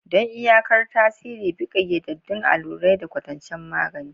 Don iyakar tasiri, bi ƙayyadaddun allurai da kwatancen magani.